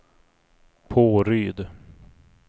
Påryd